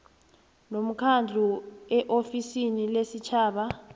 nomkhandlu eofisini lesitjhaba